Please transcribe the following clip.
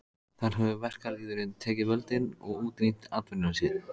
Þar hefur verkalýðurinn tekið völdin og útrýmt atvinnuleysi.